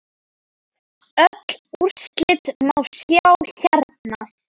Öll úrslit má sjá hérna.